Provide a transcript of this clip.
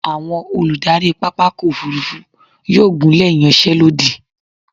Àwọn olùdarí pápákọ̀ òfúrúfú yóò gùnlé ìyanṣẹ́lódì.